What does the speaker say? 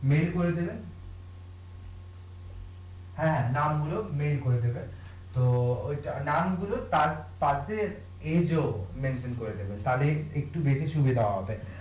mail করে দেবেন হ্যাঁ নাম গুলো মেইল করে দেবেন তো ঐটা নাম গুলো তার তার করে দেবেন তাহলে একটু বেশি সুবিধা হবে